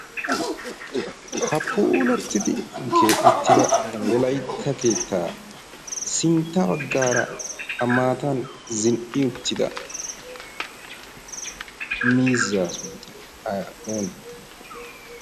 ha puulattidi keexettida wolaytta keettaa sintta baggaara ha maatan zin'i uttida mizzaa sunttayi oonnee?